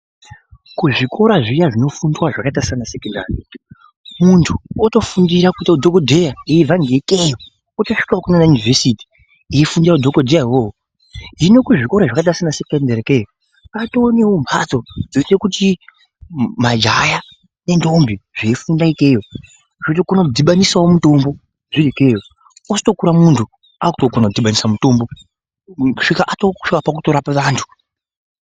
Kuzvikora zviya zvinofundwa zvakaita seanasekondari muntu otofundira kuita udhokodheya aibvangeikeyo otosvikawo kunana University eifundira udhokodheya uwowo hino kuzvikora zvakaita seana sekondari ikeyo kwatonemhatso dzinoite kuti majaha nendombi zveifunda ikeyo zvinotokone kudhibanisawo mutombo zviri ikeyo ozotokura muntu aakukona kudhibanisa mutombo kusvika akuto, kusvika pakutorapa vantu.